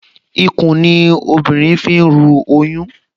Ikùn ni obìnrin fi ń ru oyún